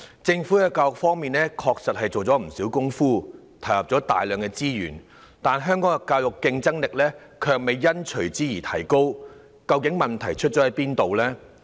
政府在教育方面，確實下了不少工夫，投入了大量資源，但香港教育的競爭力卻未有隨之提高，究竟問題出在哪裏呢？